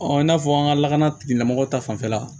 i n'a fɔ an ka lakana tigilamɔgɔw ta fanfɛla